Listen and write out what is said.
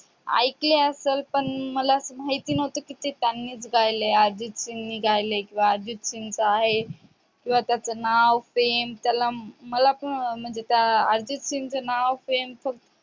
आयकलं असं पण मला माहिती नाही की ते त्यानीच गायले आहे अर्जित सिंगणी गायले अर्जित सिंगचं आहे किंवा त्याचं नाव पेन कीव्हा त्याला मला पण अर्जित सिंग